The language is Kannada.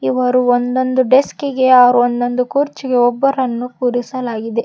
ಇವರು ಒಂದೊಂದು ಡೆಸ್ಕಿಗೆ ಅವ್ರ ಒಂದೊಂದು ಕುರ್ಚಿಗೆ ಒಬ್ಬರನ್ನು ಕುರಿಸಲಾಗಿದೆ.